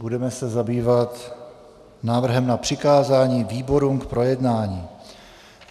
Budeme se zabývat návrhem na přikázání výborům k projednání.